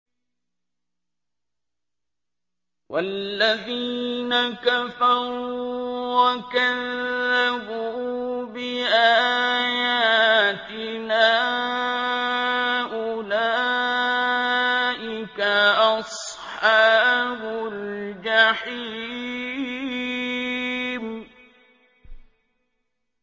وَالَّذِينَ كَفَرُوا وَكَذَّبُوا بِآيَاتِنَا أُولَٰئِكَ أَصْحَابُ الْجَحِيمِ